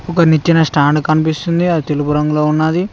ఒక నిచ్చేనా స్టాండ్ కనిపిస్తుంది అది తెలుపు రంగులో ఉన్నాది.